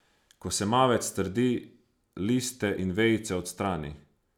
Ko se mavec strdi, liste in vejice odstrani.